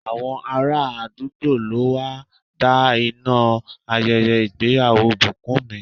Àwọn ará àdúgbò ló wá da iná ayẹyẹ ìgbéyàwó Bukunmi.